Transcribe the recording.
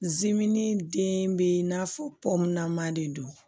Zimini den bɛ i n'a fɔ de do